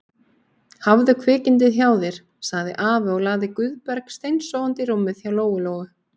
Hafðu kvikindið hjá þér, sagði afi og lagði Guðberg steinsofandi í rúmið hjá Lóu-Lóu.